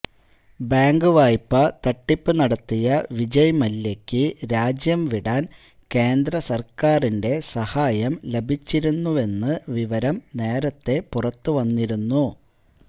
bank വായ്പ തട്ടിപ്പ് നടത്തിയ വിജയ്മല്യയ്ക്ക് രാജ്യം വിടാന് കേന്ദ്ര സര്ക്കാരിന്റെ സഹായം ലഭിച്ചിരുന്നുവെന്ന് വിവരം നേരത്തെ പുറത്ത് വന്നിരുന്നു